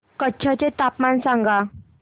कच्छ चे तापमान सांगा